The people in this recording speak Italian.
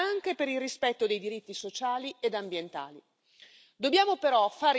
Dobbiamo però fare in modo che l'attivazione delle salvaguardie sia immediata.